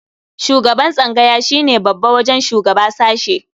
Shugaban tsangaya shi ne babba wajen shugaba sashe.